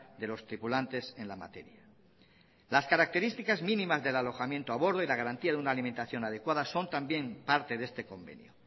de los tripulantes en la materia las características mínimas del alojamiento a bordo y la garantía de una alimentación adecuada son también parte de este convenio